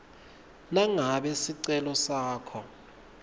nangabe sicelo sakho